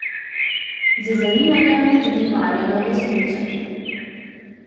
Z zanimanjem motrim Marjanovo smučanje.